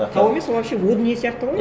тау емес ол вообще о дүние сияқты ғой